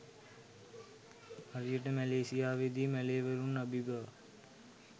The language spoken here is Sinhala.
හරියට මැලේසියාවේදී මැලේවරුන් අබිබවා